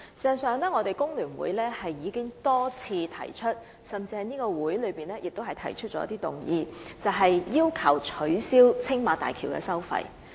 事實上，工聯會曾經多次提出，甚至在本會提出議案，要求政府取消青馬大橋收費。